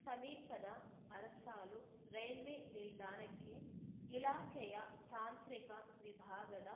ಸಮೀಪದ ಅರಸಾಳು ರೈಲ್ವೆ ನಿಲ್ದಾಣಕ್ಕೆ ಇಲಾಖೆಯ ತಾಂತ್ರಿಕ ವಿಭಾಗದ